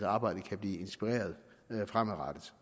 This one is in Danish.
arbejdet kan blive inspireret fremadrettet